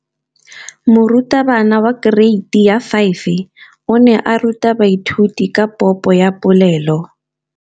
Moratabana wa kereiti ya 5 o ne a ruta baithuti ka popô ya polelô.